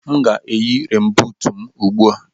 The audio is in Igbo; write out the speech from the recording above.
M ga-eyi renbuut m ugbu a.